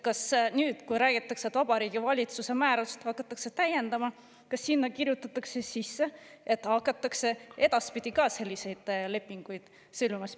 Kas nüüd, kui räägitakse, et Vabariigi Valitsuse määrust hakatakse täiendama, kirjutatakse sinna sisse, et hakatakse edaspidi ka selliseid lepinguid sõlmima?